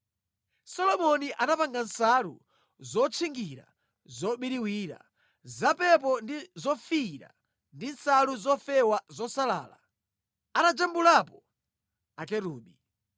Solomoni anapanga nsalu zotchingira zobiriwira, zapepo ndi zofiira ndi nsalu zofewa zosalala, atajambulapo Akerubi.